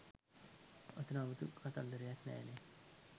ඔතන අමුතු කතන්දරයක් නෑ නේ